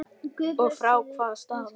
Og frá hvaða stað?